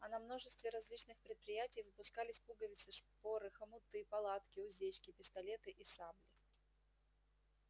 а на множестве различных предприятий выпускались пуговицы шпоры хомуты палатки уздечки пистолеты и сабли